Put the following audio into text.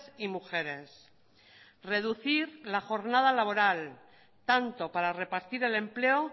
y mujeres reducir la jornada laboral tanto para repartir el empleo